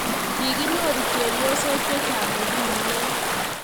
kikinyoru chepyosok chechang ko ki meyo